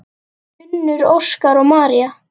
Unnur, Óskar og María.